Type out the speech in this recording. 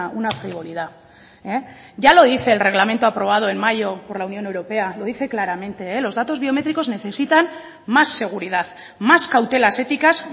una frivolidad ya lo dice el reglamento aprobado en mayo por la unión europea lo dice claramente los datos biométricos necesitan más seguridad más cautelas éticas